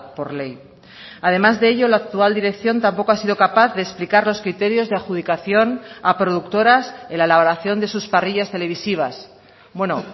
por ley además de ello la actual dirección tampoco ha sido capaz de explicar los criterios de adjudicación a productoras en la elaboración de sus parrillas televisivas bueno